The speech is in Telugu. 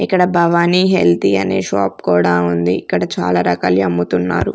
ఇక్కడ భవాని హెల్తీ అనే షాప్ కూడా ఉంది ఇక్కడ చాలా రకాలి అమ్ముతున్నారు.